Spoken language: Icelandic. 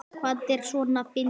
Hvað er svona fyndið?